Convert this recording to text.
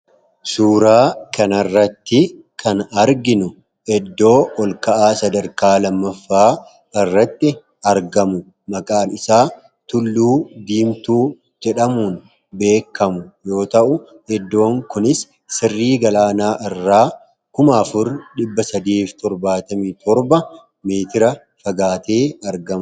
Suuraa kana irratti kan arginu, iddoo ol ka'aa sadarkaa lammaffaa irratti argamu maqaan isaa tulluu diimtuu jedhamuun yoo ta'u, iddoon kunis sirrii galaanaa irraa Kuma afur dhibba sadii fi torbaatamii torba meetira fagaatee argamudha.